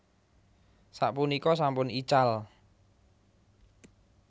Sapunika sampun ical